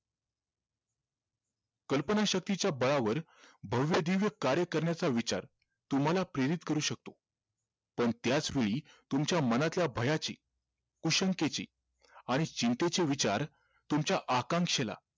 कल्पनाशक्तीच्या बळावर भव्यदिव्य कार्य करण्याचा विचार तुम्हाला प्रेरित करू शकतो पण त्याच वेळी तुमच्या मनातल्या भयाची कुशलतेची आणि चिंतेचे विचार तुमच्या आकांक्षेला